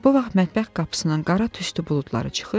Bu vaxt mətbəx qapısından qara tüstü buludları çıxır,